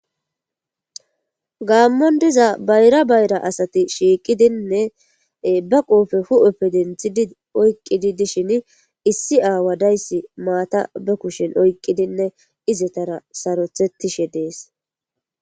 Gaammon diza bayra bayra asati shiiqidinne ba qoofe hu'eppe denthi oyqqidi dishin issi aawa dayssi maata ba kushin oyqqidinne izetara sarothettishe dees.